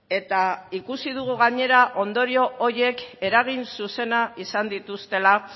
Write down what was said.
eta ikusi dugu gainera ondorio horiek eragin zuzena izan dituztela